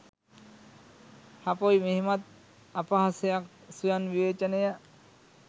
හපොයි මෙහෙමත් අපහසයක් ස්වයං විවේචනය.